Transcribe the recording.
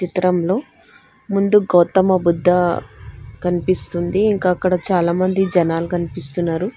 చిత్రంలో ముందు గౌతమ బుద్ధా కనిపిస్తుంది ఇంకా అక్కడ చాలా మంది జనాలు కనిపిస్తున్నారు.